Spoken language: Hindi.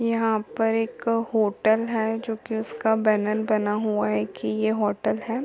यहाँ पर एक होटल हैं जो कि उसका बैनर बना हुआ हैं की ये होटल हैं।